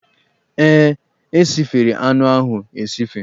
Ee, e sifere anụ ahụ esife.